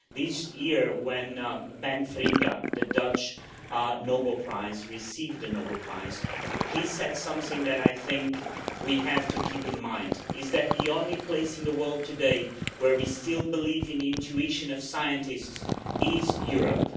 This year when Ben Feringa, of the Netherlands, received the Nobel Prize he said something that I think we have to keep in mind that the only place in the world today where we still believe in the intuition of scientists is Europe.